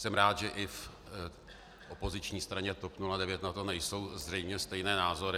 Jsem rád, že i v opoziční straně TOP 09 na to nejsou zřejmě stejné názory.